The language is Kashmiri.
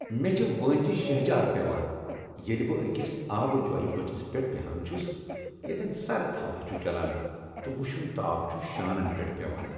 مےٚ چھ وٲنجہ شہجار پیوان ییٚلہ بہٕ أکس آبہ جۄیہ بٔٹھس پیٹھ بیہان چھس ییٚتین سرد ہوا چھ چلان تہٕ وشُن تاپھ چھم شانن پیٹھ پیوان۔